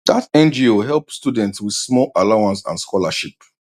that ngo help students with small allowance and scholarship